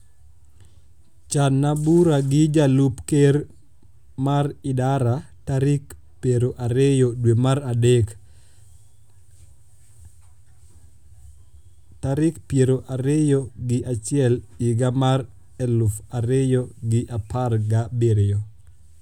channa bura gi jalup ker mar idara tarik pero ariyo dwe mar adek tarik piero ariyo gi achiel higa mar eluf ariyo gi apargi abirio